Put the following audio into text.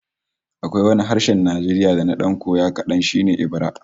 Akwai wani harshen Najeriya da na dan koya kadan, shi ne Ebira